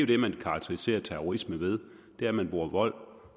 det man karakteriserer terrorisme ved det er at man bruger vold